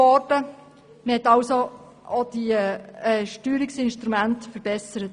Man hat somit diese Steuerungsinstrumente verbessert.